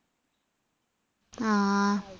ആ